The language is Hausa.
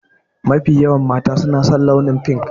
Mafi yawan mata su na san launin fink.